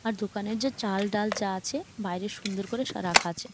আর দোকানের যে চাল ডাল যা আছে বাইরে সুন্দর করে রাখা আছে ।